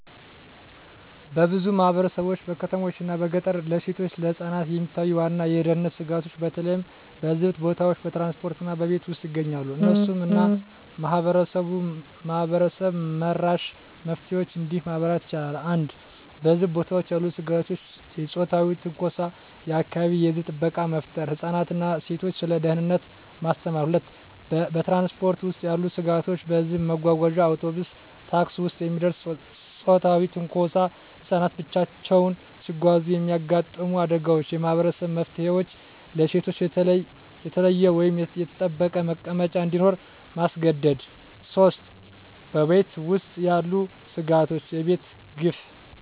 በብዙ ማህበረሰቦች (በከተሞችና በገጠር) ለሴቶችና ለህፃናት የሚታዩ ዋና የደህንነት ስጋቶች በተለይ በህዝብ ቦታዎች፣ በትራንስፖርት እና በቤት ውስጥ ይገኛሉ። እነሱን እና ማህበረሰብ-መራሽ መፍትሄዎችን እንዲህ ማብራር ይቻላል፦ 1. በህዝብ ቦታዎች ያሉ ስጋቶች የጾታዊ ትንኮሳ የአካባቢ የህዝብ ጥበቃ መፍጠር ህፃናትን እና ሴቶችን ስለ ደህንነት ማስተማር 2. በትራንስፖርት ውስጥ ያሉ ስጋቶች በህዝብ መጓጓዣ (አውቶቡስ፣ ታክሲ) ውስጥ የሚደርስ ጾታዊ ትንኮሳ ህፃናት ብቻቸውን ሲጓዙ የሚያጋጥሙ አደጋዎች የማህበረሰብ መፍትሄዎች ለሴቶች የተለየ ወይም የተጠበቀ መቀመጫ እንዲኖር ማስገደድ 3. በቤት ውስጥ ያሉ ስጋቶች የቤተሰብ ግፍ